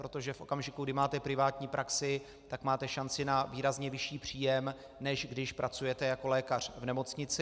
Protože v okamžiku, kdy máte privátní praxi, tak máte šanci na výrazně vyšší příjem, než když pracujete jako lékař v nemocnici.